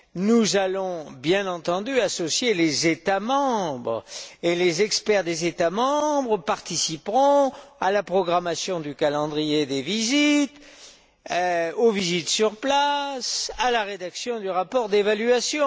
Nous allons, bien entendu, associer les États membres et les experts des États membres participeront à la programmation du calendrier des visites, aux visites sur place, à la rédaction du rapport d'évaluation.